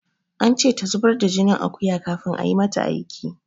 An ce ta zubar da jinin akuya kafin ayi mata aiki.